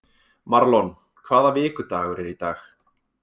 Marlon, hvaða vikudagur er í dag?